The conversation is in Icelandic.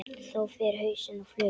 Þá fer hausinn á flug.